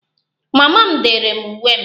Mama m dere m uwe m